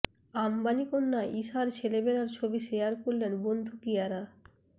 আম্বানি কন্যা ইশার ছেলেবেলার ছবি শেয়ার করলেন বন্ধু কিয়ারা